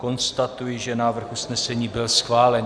Konstatuji, že návrh usnesení byl schválen.